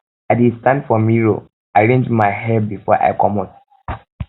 i dey stand for mirror um arrange my um hair before i comot